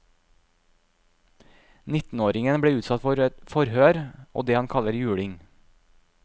Nittenåringen ble utsatt for forhør og det han kaller juling.